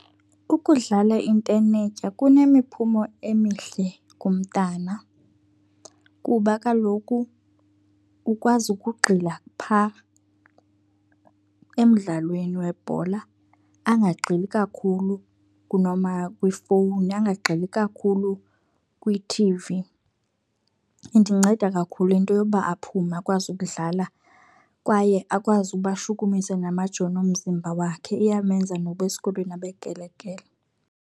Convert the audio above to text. Ukudlala intenetya kunemiphumo emihle kumntana kuba kaloku ukwazi ukugxila phaa emdlalweni webhola angagxili kakhulu kwifowuni, angagxili kakhulu kwi-T_V. Indinceda kakhulu into yoba aphume akwazi ukudlala kwaye akwazi uba ashukumise namajoni omzimba wakhe. Iyamenza noba esikolweni abekrelekrele.